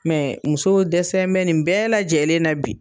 Mɛ muso dɛsɛ bɛ nin bɛɛ lajɛlen na bi.